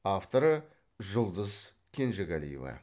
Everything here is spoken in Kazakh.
авторы жұлдыз кенжегалиева